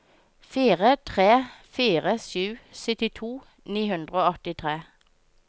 fire tre fire sju syttito ni hundre og åttitre